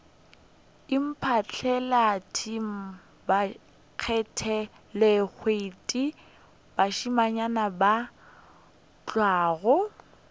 iphatlalalet bakgathalehwiti mošemanyana wa nywaga